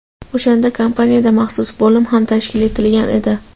O‘shanda kompaniyada maxsus bo‘lim ham tashkil etilgan edi.